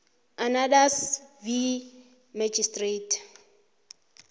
others v magistrate